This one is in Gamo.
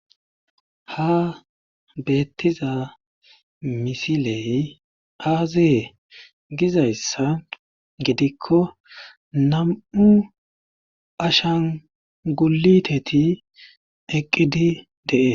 ha beettiza misiley aazeye gizayssa gidikko nam7u ashan guliteti eqqidi dees